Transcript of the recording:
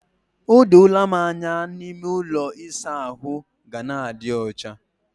O doola m anya na ime ụlọ ịsa ahụ ga na-adi ọcha.